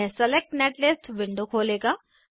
यह select netlist window खोलेगा